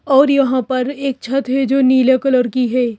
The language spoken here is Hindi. और यहां पर एक छत है जो नीले कलर की है।